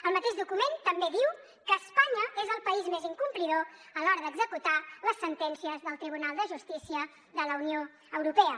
el mateix document també diu que espanya és el país més incomplidor a l’hora d’executar les sentències del tribunal de justícia de la unió europea